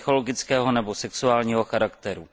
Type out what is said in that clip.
psychologického nebo sexuálního charakteru.